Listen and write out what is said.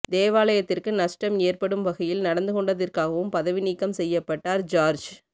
தேவாலத்தியற்கு நஷ்டம் ஏற்படும் வகையில் நடந்து கொண்டதிற்காகவும் பதவி நீக்கம் செய்யப்பட்டார் ஜார்ஜ்